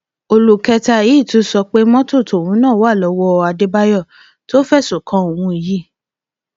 olú kẹta yìí tún sọ pé mọtò tóun náà wà lọwọ àdébáyò tó ń fẹsùn kan òun yìí